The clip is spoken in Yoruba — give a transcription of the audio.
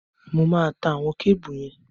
Mo máa ta àwọn kébù yẹn